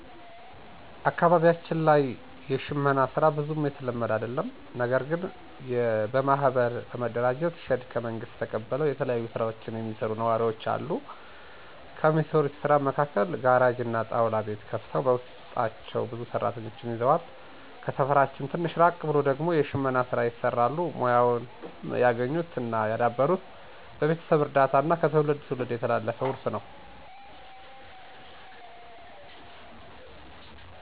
አካባቢያችን ላይ የሽመና ሥራ ብዙም የተለመደ አደለም። ነገርግን በማህበር በመደራጀት ሼድ ከመንግስት ተቀብለው የተለያዩ ስራዎችን የሚሰሩ ነዋሪወች አሉ። ከሚሰሩት ስራም መካከል ጋራጅ እና ጣውላ ቤት ከፍተው በውስጣቸው ብዙ ሰራተኞችን ይዘዋል። ከሰፈራችን ትንሽ ራቅ ብሎ ደግሞ የሽመና ሥራ ይሰራሉ። ሙያውንም ያገኙት እና ያዳበሩት በቤተሰብ እርዳታ እና ከትውልድ ትውልድ የተላለፈ ውርስ ነው።